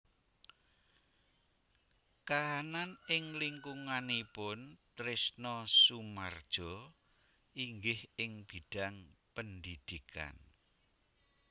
Kahanan ing lingkunganipun Trisno Soemardjo inggih ing bidhang pendhidhikan